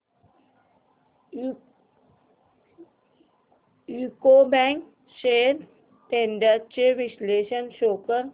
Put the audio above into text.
UCO bank shares trends चे विश्लेषण show कर